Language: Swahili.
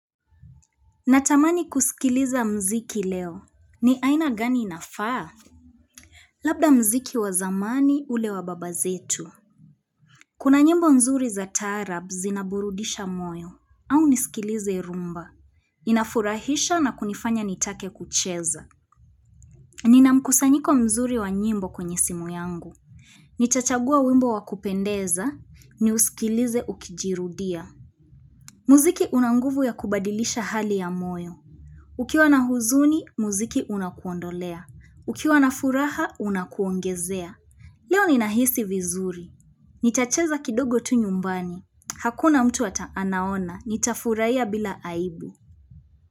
Natamani kusikiliza mziki leo. Ni aina gani inafaa? Labda mziki wa zamani ule wa baba zetu. Kuna nyimbo nzuri za taarab zinaburudisha moyo au nisikilize rumba. Inafurahisha na kunifanya nitake kucheza. Nina mkusanyiko mzuri wa nyimbo kwenye simu yangu. Nitachagua wimbo wa kupendeza niusikilize ukijirudia. Mziki una nguvu ya kubadilisha hali ya moyo. Ukiwa na huzuni, muziki unakuondolea. Ukiwa na furaha, unakuongezea. Leo ninahisi vizuri. Nitacheza kidogo tu nyumbani. Hakuna mtu hata anaona. Nita furahia bila aibu.